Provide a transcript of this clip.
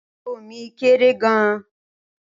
Ago mi kéré gan-an.